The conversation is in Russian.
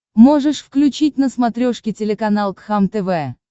можешь включить на смотрешке телеканал кхлм тв